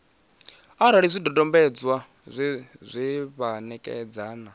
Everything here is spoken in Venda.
arali zwidodombedzwa zwe vha ṋekana